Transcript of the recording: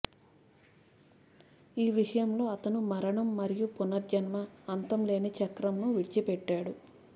ఈ విషయంలో అతను మరణం మరియు పునర్జన్మ అంతం లేని చక్రంను విడిచిపెట్టాడు